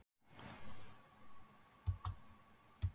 Hann var að springa af einhverju.